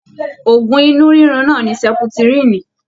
Òògùn inú rirun náà ní seputirini.